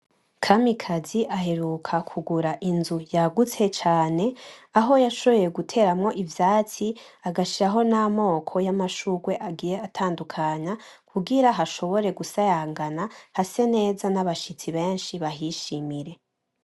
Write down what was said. Kamikazi aheruka kugura inzu yagutse cane Aho yashoboye guteramwo ivyatsi agashiraho n’amoko y’amashurwe agiye atandukanye kugira hashobore gusayangana hase neza n’abashitsi benshi bahishimire.